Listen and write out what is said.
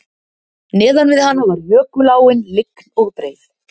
Neðan við hana var jökuláin lygn og breið